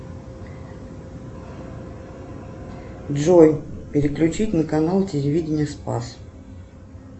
джой переключить на канал телевидение спас